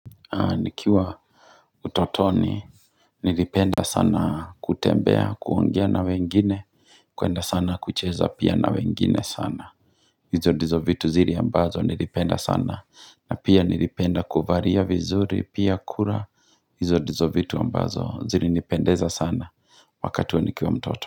Nikiwa utotoni nilipenda sana kutembea, kuongea na wengine, kuenda sana kucheza pia na wengine sana. Hizo ndizo vitu zile ambazo nilipenda sana. Na pia nilipenda kuvalia vizuri, pia kula hizo ndizo vitu ambazo zilinipendeza sana wakati huo nikiwa mtoto.